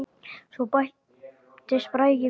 Svo bættist Bragi við.